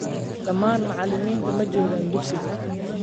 Dhammaan macallimiintu maa jogaan dugsiga